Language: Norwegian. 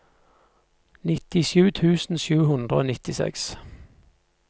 nittisju tusen sju hundre og nittiseks